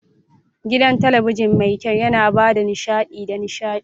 Gidan talabijin mai kyau yana ba da nishaɗi da nishaɗi.